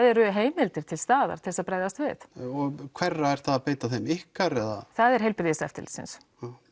eru heimildir til staðar til þess að bregðast við hverra er það að beita þeim ykkar eða það er heilbrigðiseftirlitsins